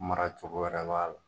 Mara cogo wɛrɛ b' a la.